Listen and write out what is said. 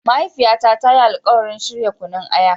Mahaifiyata ta yi alkawarin shirya Kunun aya.